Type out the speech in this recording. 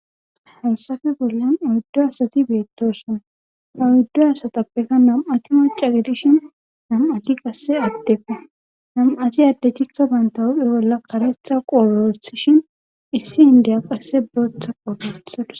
Hayssafe bollan oyddu asati beettoosona ha oyddu asatppeka nam7ati macca gidishin nam7ati qasse addeko nam7ati adeti bantta huuphe bolla karetha qoobe wothishin issi inddiya qasse bootha qoobe wothadus.